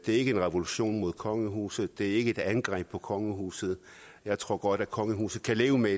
er ikke en revolution mod kongehuset det er ikke et angreb på kongehuset jeg tror godt at kongehuset kan leve med